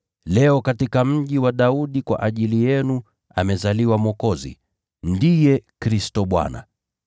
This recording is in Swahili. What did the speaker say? Leo katika mji wa Daudi kwa ajili yenu amezaliwa Mwokozi, ndiye Kristo Bwana.